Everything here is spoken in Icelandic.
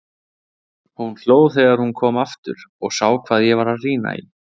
Hún hló þegar hún kom aftur og sá hvað ég var að rýna í.